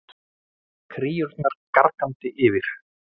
Kríurnar gargandi yfir.